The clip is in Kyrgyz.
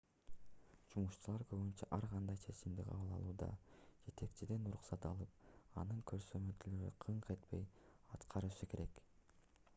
жумушчулар көбүнчө ар кандай чечимди кабыл алууда жетекчиден уруксат алып анын көрсөтмөлөрүн кыңк этпей аткарышы керек